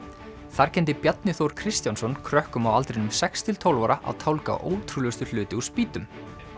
þar kenndi Bjarni Þór Kristjánsson krökkum á aldrinum sex til tólf ára að tálga ótrúlegustu hluti úr spýtum